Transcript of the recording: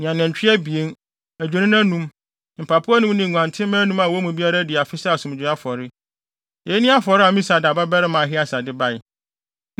ne anantwi abien, adwennini anum, mpapo anum ne nguantenmma anum a wɔn mu biara adi afe sɛ asomdwoe afɔre. Eyi ne afɔre a Amisadai babarima Ahieser de bae.